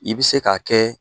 I bɛ se k' kɛ.